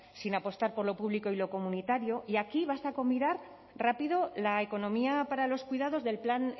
sin apostar por lo público y lo comunitario y aquí basta con mirar rápido la economía para los cuidados del plan